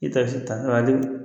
I bɛ takisi taa